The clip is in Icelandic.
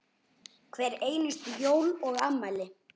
Hver einustu jól og afmæli.